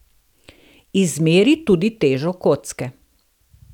Izmeri tudi težo kocke.